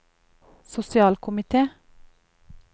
sosialkomite